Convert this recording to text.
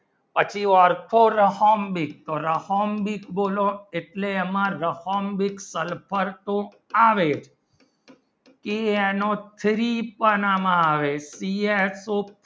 પાછો orthorhombic rhombic બુનો એટલે એમાં રહોમ્બિક sulphur આવેતે એનો free પણ માં આવે